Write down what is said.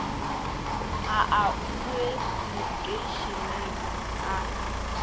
a a boe lekheišeneng a